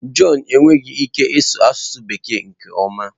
John enweghị ike ịsụ asụsụ Bekee nke ọma.